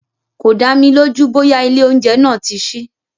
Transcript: Kò dámi lójú bóyá ilé oúnjẹ náà tí sí.